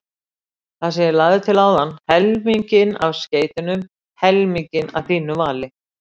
Það sem ég lagði til áðan: helminginn af skeytunum helminginn að þínu vali